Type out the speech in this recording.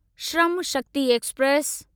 Shram Shakti express